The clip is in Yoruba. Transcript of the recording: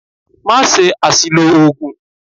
Má ṣe àsìlò oògùn!